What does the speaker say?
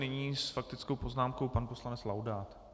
Nyní s faktickou poznámkou pan poslanec Laudát.